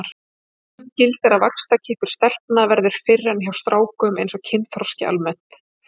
Almennt gildir að vaxtarkippur stelpna verður fyrr en hjá strákum eins og kynþroski almennt.